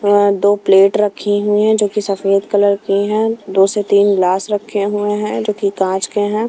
यहाँं दो प्लेट रखी हुई है जो कि सफेद कलर की है दो से तीन ग्लास रखे हुए हैं जो कि काँंच के हैं।